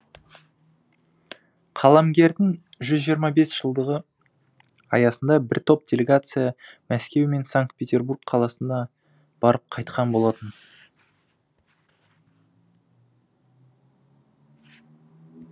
қаламгердің жүз жиырма бес жылдығы аясында бір топ делегация мәскеу мен санкт петербург қаласына барып қайтқан болатын